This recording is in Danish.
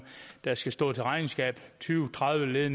der skal stå til regnskab tyve tredive led